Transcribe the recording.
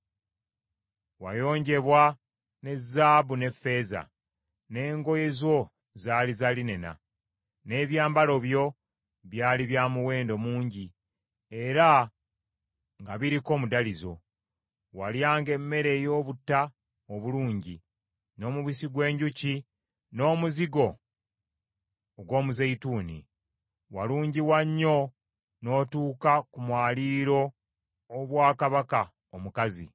Wayonjebwa ne zaabu n’effeeza, n’engoye zo zaali za linena, n’ebyambalo byo byali byamuwendo mungi era nga biriko omudalizo. Walyanga emmere ey’obutta obulungi, n’omubisi gw’enjuki n’omuzigo ogw’omuzeyituuni. Walungiwa nnyo n’otuuka ku mwaliiro ery’obwa kabaka omukazi.